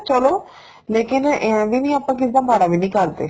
ਚਲੋ ਲੇਕਿਨ ਇਹ ਏ ਵੀ ਆਪਾਂ ਕਿਸੇ ਦਾ ਮਾੜਾ ਵੀ ਨਹੀਂ ਕਰਦੇ